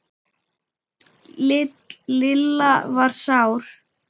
Lilla var sár.